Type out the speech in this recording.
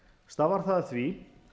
stafar það af því